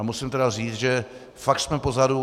A musím tedy říct, že fakt jsme pozadu.